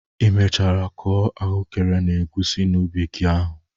Ị mechara kụọ ahụekere na egusi n'ubi gi ahụ?